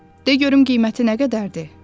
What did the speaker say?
De görüm qiyməti nə qədərdir?”